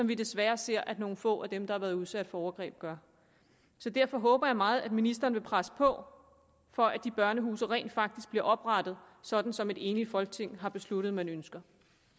vi desværre ser at nogle få af dem der har været udsat for overgreb gør så derfor håber jeg meget at ministeren vil presse på for at de børnehuse rent faktisk bliver oprettet sådan som et enigt folketing har besluttet man ønsker